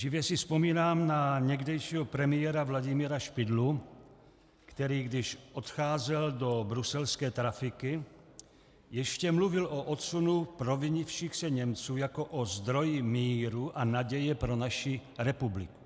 Živě si vzpomínám na někdejšího premiéra Vladimíra Špidlu, který když odcházel do bruselské trafiky, ještě mluvil o odsunu provinivších se Němců jako o zdroji míru a naděje pro naši republiku.